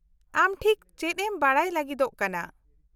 -ᱟᱢ ᱴᱷᱤᱠ ᱪᱮᱫ ᱮᱢ ᱵᱟᱰᱟᱭ ᱞᱟᱹᱜᱤᱫᱚᱜ ᱠᱟᱱᱟ ?